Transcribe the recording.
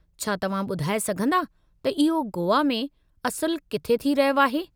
छा तव्हां ॿुधाए सघंदा त इहो गोवा में असुलु किथे थी रहियो आहे?